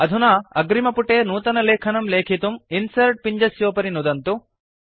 अधुना अग्रिमपुटे नूतनलेखनं लेखितुं इन्सर्ट् पिञ्जस्योपरि नुदन्तु